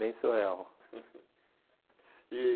Bem surreal. E